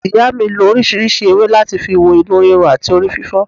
Ìyá mi lo orísìírísìí ewé láti fi wo inú ríro àti orí fífọ́